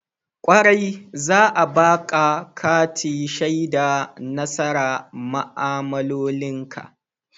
Kwarai, za'a baƙa kati shaida nasara ma'amaloli ka.